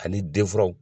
Ani den furaw